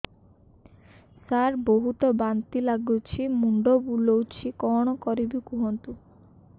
ସାର ବହୁତ ବାନ୍ତି ଲାଗୁଛି ମୁଣ୍ଡ ବୁଲୋଉଛି କଣ କରିବି କୁହନ୍ତୁ